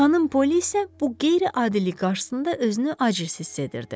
Xanım Poli isə bu qeyri-adilik qarşısında özünü aciz hiss edirdi.